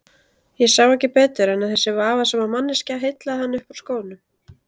Ég sá ekki betur en að þessi vafasama manneskja heillaði hann upp úr skónum.